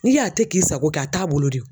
N'i y'a tɛ k'i sako ye a t'a bolo de